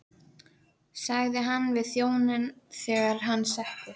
sagði hann við þjóninn þegar hann settist.